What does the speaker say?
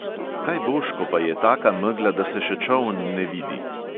Kaj boš, ko pa je taka megla, da se še čoln ne vidi?